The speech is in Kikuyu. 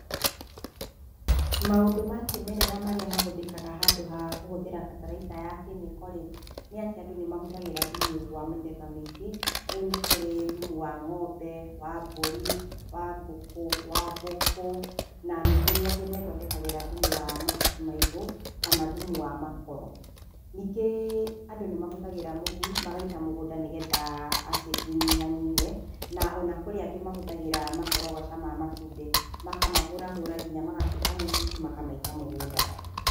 Maũndũ ma kĩmerera marĩa mahũthĩkaga handũ ha kũhũthĩra bataraitha ya kemiko rĩ, nĩ atĩ andũ nĩ mahũthagĩra thumu wa mĩthemba mĩingĩ. Tarĩu nĩ kũrĩ thumu wa ng'ombe, wa mbũri, wa ngũkũ, wa mbũkũ na nĩ kũrĩ angĩ methondekagĩra thumu wa mahuti maĩgũ, kana thumu wa makoro. Ningĩ andũ nĩ mahũthagĩra mũhu magaita mũgũnda nĩgetha acid ĩnyihanyihe. Na ona kũrĩ angĩ mahũthagĩra makorogoca ma matumbĩ, makamahũrahũra nginya magatuĩka mũtutu makamaita mũgũnda.